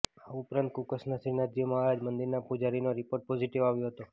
આ ઉપરાંત કુકસના શ્રીનાથજી મહારાજ મંદિરના પુજારીનો રિપોર્ટ પોઝિટિવ આવ્યો હતો